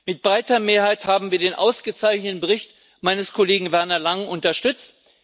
Mit breiter Mehrheit haben wir den ausgezeichneten Bericht meines Kollegen Werner Langen unterstützt.